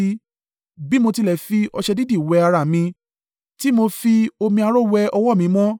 Bí mo tilẹ̀ fi ọṣẹ dídì wẹ ara mi, tí mo fi omi aró wẹ ọwọ́ mi mọ́,